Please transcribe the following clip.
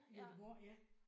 Ja